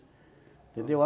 Entendeu?